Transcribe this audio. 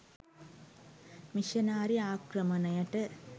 missionary ආක්‍රමණයට